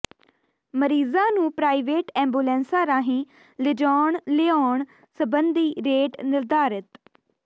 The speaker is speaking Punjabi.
ਮਰੀਜ਼ਾਂ ਨੂੰ ਪ੍ਰਾਈਵੇਟ ਐਂਬੂਲੈਂਸਾਂ ਰਾਹੀਂ ਲਿਜਾਉਣ ਲਿਆਉਣ ਸਬੰਧੀ ਰੇਟ ਨਿਰਧਾਰਿਤ